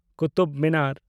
Qutub Minar